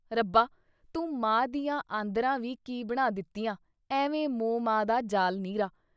ਰੱਬਾ ! ਤੂੰ ਮਾਂ ਦੀਆਂ ਆਂਦਰਾਂ ਵੀ ਕੀ ਬਣਾ ਦਿੱਤੀਆਂ ? ਐਵੇਂ ਮੌਹਮਾ ਦਾ ਜਾਲ ਨਿਰਾ।